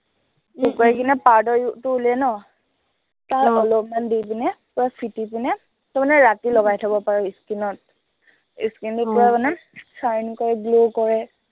শুকুৱাাই কিনে powder টো উলিয়াই ন তাৰ অলপমান দি কিনে পূৰা ফেটি কিনে, তই মানে ৰাতি লগাই থব পাৰ skin ত skin টো পূৰা মানে shine কৰে glow কৰে